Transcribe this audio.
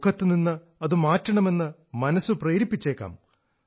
മുഖത്തുനിന്ന് അതു മാറ്റണമെന്ന് മനസ്സ് പ്രേരിപ്പിച്ചേക്കാം